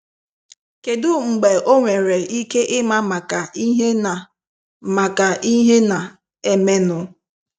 Kedu mgbe ọnwere ike ịma maka ihe na- maka ihe na- emenụ?